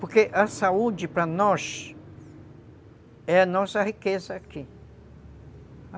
Porque a saúde, para nós, é a nossa riqueza aqui.